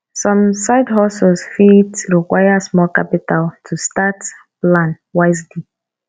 some sidehustles fit require small capital to start plan wisely